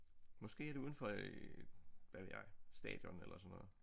Måske er det uden for øh hvad ved jeg stadion eller sådan noget